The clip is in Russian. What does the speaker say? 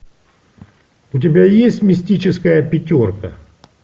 у тебя есть мистическая пятерка